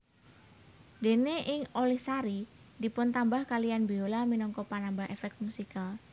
Dene ing Olihsari dipuntambah kaliyan biola minangka penambah efek musikal